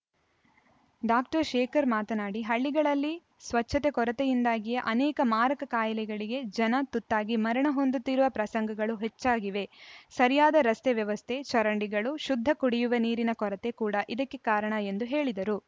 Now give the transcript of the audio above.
doctor Shekhar ಮಾತನಾಡಿ ಹಳ್ಳಿಗಳಲ್ಲಿ ಸ್ವಚ್ಛತೆ ಕೊರತೆಯಿಂದಾಗಿಯೇ ಅನೇಕ ಮಾರಕ ಕಾಯಿಲೆಗಳಿಗೆ ಜನ ತುತ್ತಾಗಿ ಮರಣಹೊಂದುತ್ತಿರುವ ಪ್ರಸಂಗಗಳು ಹೆಚ್ಚಾಗಿವೆ ಸರಿಯಾದ ರಸ್ತೆ ವ್ಯವಸ್ಥೆ ಚರಂಡಿಗಳು ಶುದ್ಧ ಕುಡಿಯುವ ನೀರಿನ ಕೊರತೆ ಕೂಡ ಇದಕ್ಕೆ ಕಾರಣ ಎಂದು ಹೇಳಿದರು